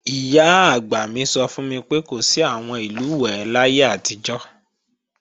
Ìyá-àgbà mi sọ fún mi pé, kò sí àwọn ìlùwẹ̀ẹ̀ láyé àtijọ́